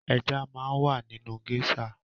Ẹja máa ń wà nínu géṣà.